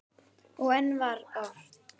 Og enn var ort.